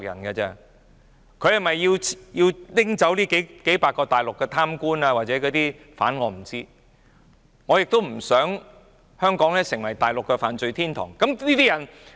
他是否要拘捕這數百名大陸貪官或疑犯，我不知道，但我亦不想香港成為大陸的犯罪天堂。